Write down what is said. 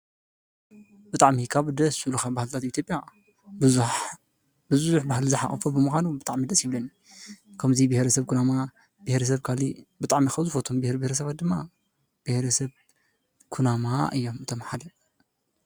ብጣዕሚ ካብ ደስ ዝብሉካ ባህልታት ኢ/ያ ብዙሕ ባህሊ ዝሓቆፈ ብምኳኑ ብጣዕሚ ደስ ይብለኒ፡፡ ከምዚ ብሄረሰብ ኩናማ፣ ብሄረሰብ ካሊእ ብጣዕሚ ካብ ዝፈትዎም ብሄር ብሄረሰባት ድማ ብሄረሰብ ኩናማ እዮም እቶም ሓደ፡